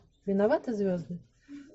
виноваты звезды